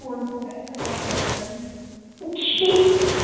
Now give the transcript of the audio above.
phone ਖੋਹ ਗਿਆ ਸੀ ਮੇਰਾ ਇੱਕ ਵਾਰੀ